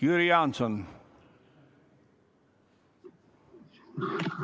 Jüri Jaanson, palun!